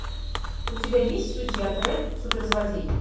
у тебя есть судья дредд суперзлодей